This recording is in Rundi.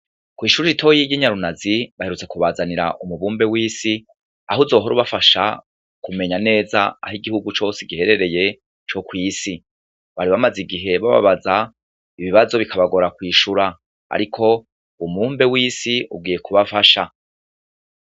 Kw'ishure ritoya ry'inyarunazi, baherutse kubazanira umubumbe w'isi, aho uzohora ubafasha kumenya neza aho igihugu cose giherereye co kw'isi. Bari bamaze igihe bababaza, ibibazo bikabagora kwishura. Ariko umubumbe w'isi ugiye kubafasha.